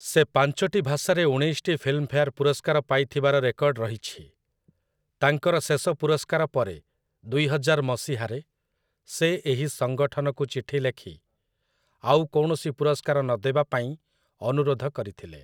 ସେ ପାଞ୍ଚଟି ଭାଷାରେ ଉଣେଇଶଟି ଫିଲ୍ମଫେଆର୍ ପୁରସ୍କାର ପାଇଥିବାର ରେକର୍ଡ ରହିଛି । ତାଙ୍କର ଶେଷ ପୁରସ୍କାର ପରେ, ଦୁଇହଜାର ମସିହାରେ, ସେ ଏହି ସଂଗଠନକୁ ଚିଠି ଲେଖି ଆଉ କୌଣସି ପୁରସ୍କାର ନ ଦେବା ପାଇଁ ଅନୁରୋଧ କରିଥିଲେ ।